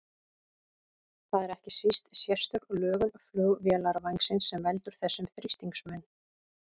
Það er ekki síst sérstök lögun flugvélarvængsins sem veldur þessum þrýstingsmun.